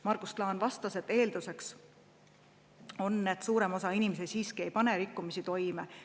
Margus Klaan vastas, et eelduseks on, et suurem osa inimesi siiski ei pane rikkumisi toime.